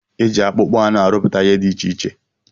Eji akpụkpọ anụ arụpụta ihe dị iche iche.